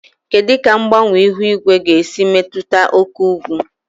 Kedu ka mgbanwe ihu igwe ga-esi metụta oke ugwu?